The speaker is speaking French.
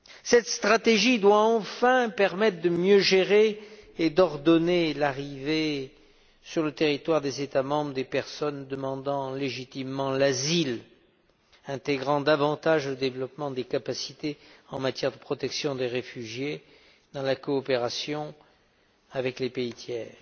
Cette stratégie doit enfin permettre de mieux gérer et d'ordonner l'arrivée, sur le territoire des États membres, des personnes demandant légitimement l'asile, en intégrant davantage le développement des capacités en matière de protection des réfugiés dans la coopération avec les pays tiers.